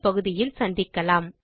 இதற்கு தமிழாக்கம் கடலூர் திவா